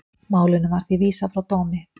Málinu var því vísað frá dómi